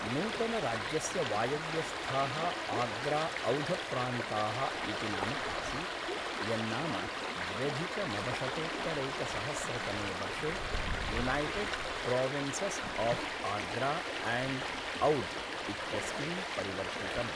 नूतनराज्यस्य वायव्यस्थाः आग्रा औधप्रान्ताः इति नाम आसीत्, यन्नाम द्व्यधिकनवशतोत्तरैकसहस्रतमे वर्षे United Provinces of Agra and Oudh इत्यस्मिन् परिवर्तितम्।